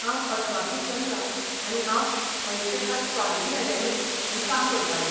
हांव अस्वाथी चंद्रा आनी हांव हनीटेकांत क्वालिटी एनालिस्ट म्हणून काम करतालें.